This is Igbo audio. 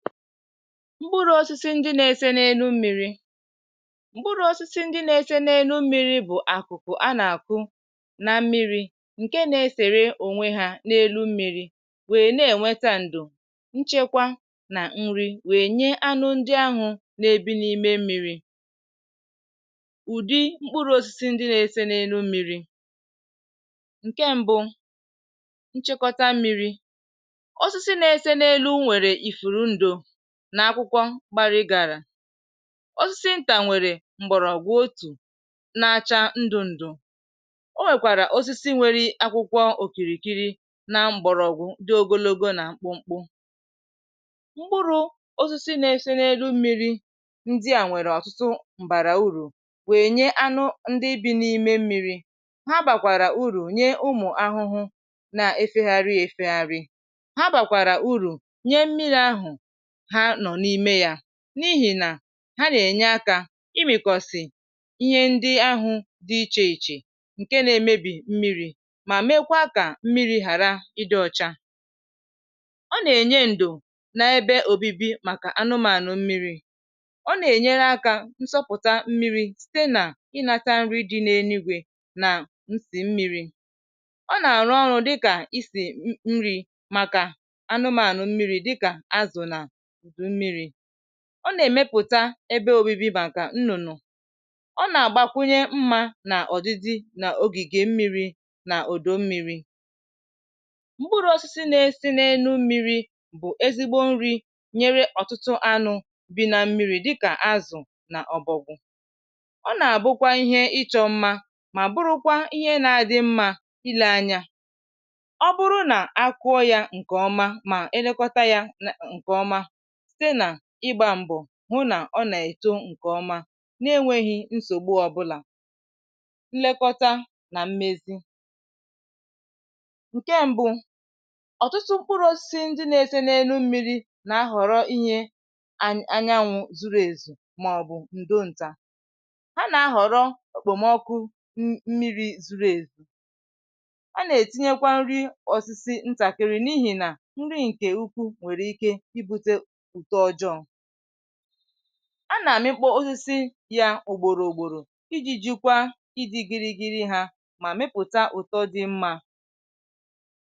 mkpụrụ̇ osisi ndị na-ese na-enu mmiri bụ̀ akụ̀kụ̀ a na-akụ̀ na mmiri, ǹkè na-esère ònwe ha n’elu mmiri, wèe na-ènweta ǹdò, nchekwa, nà nrì, wèe nye anụ ndị ahụ̀ na-ebi n’ime mmiri. Ụ̀dị mkpụrụ̇ osisi ndị na-ese na-enu mmiri, ǹkè mbụ bụ̀ nchekọta mmiri. Ọsụsị na-ese n’elu nwèrè ifùrù ndụ̀ nà akwụkwọ gbara, ị gà-àrà ọsịsị ntà, nwèrè m̀bọ̀rọ̀gwụ̀ otù na-acha ndụ̇ ndụ̇. O nwèkwàrà osisi nwere akwụkwọ òkìrìkìrì nà m̀bọ̀rọ̀gwụ̀ ndị ogologo nà mkpụmkpụ. Mkpụrụ̇ osisi na-eserelu mmịrị̇ ndị à nwèrè ọ̀tụtụ m̀bàrà urù, wèe nye anụ ndị bi̇ n’ime mmịrị̇. Ha bàkwàrà urù nye ụmụ̀ ahụhụ na-efegharị efegharị, ha bàkwàrà urù nye mmịrị̇ ahụ̀ ha nọ̀ n’ime yà, n’ihì nà ha nà-ènye akȧ imi̇kọ̇sì ihe ndị ahụ̇ dị ichè ichè ǹkè na-emebì mmịrị̇, mà mekwaa kà mmịrị̇ ghàra ịdị̇ ọ̇chȧ. Ọ nà-ènye ǹdù n’ebe òbibi màkà anụmànụ̀ mmịrị̇, ọ nà-ènyere akȧ nsọpụ̀ta mmịrị̇ site nà ịnȧta nri dị n’enuigwė nà nsì mmịrị̇, ọ nà-àrụ ọrụ̇ dịkà i sì nri màkà anụmànụ̀ mmịrị̇ dịkà azụ̀ nà ọ nà-èmepụ̀ta ebe obibi bà àkà nnụ̀nụ̀. um Ọ nà-àgbakwunye mmȧ nà ọdịdị n’ogìgè mmịrị̇ nà òdò mmịrị̇. M̀gburu̇ osisi na-esi n’enu mmịrị̇ bụ̀ ezigbo nri̇ nyere ọ̀tụtụ anụ̇ bi̇ na mmịrị̇ dịkà azụ̀ nà ọbọ̀gụ̀. Ọ nà-àbụkwa ihe ịchọ̇ mmȧ, mà burukwa ihe na-adị mmȧ ilė anya. Ọ bụrụ nà akụọ yȧ ǹkè ọma, mà elekọta yȧ ǹkè ọma, hụ nà ọ nà-èto ǹkè ọma, na-enwėghi̇ nsògbu ọ̀bụlà. Nlekọta nà mmezi ụ̀ke mbụ̇, ọ̀tụtụ mkpụrụ̇ osisi ndị na-ese n’enu mmịrị̇ nà a họ̀rọ inyė anyanwụ̇ zuru èzù màọ̀bụ̀ ǹdò ntà. Ha nà-ahọ̀rọ okpomọkụ mmịrị̇ zuru èzù. A nà-ètinyekwa nri ọ̀sịsị ntàkịrị, n’ihì nà nri ǹkè ukwu nwèrè ike. A nà-àmịkpọ osisi yȧ ùgbòrò ùgbòrò iji jùkwaa, iji gịrị gịrị hȧ, mà mepụta ụ̀tọ dị mmȧ.